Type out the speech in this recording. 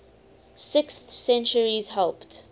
sixth centuries helped